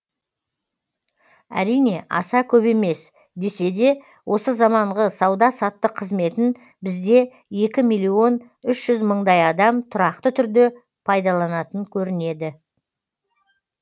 әрине аса көп емес десе де осы заманғы сауда саттық қызметін бізде екі миллион үшжүз мыңдай адам тұрақты түрде пайдаланатын көрінеді